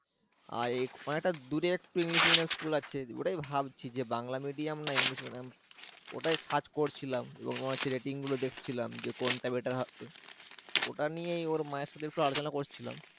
আহ অনেকটা দূরে একটা english medium school আছে ওটাই ভাবছি যে বাংলা medium না english medium ওটাই search করছিলাম এবং rating গুলো দেখছিলাম যে কোনটা better হবে ওটা নিয়ে ওর মায়ের সাথে একটু আলোচনা করছিলাম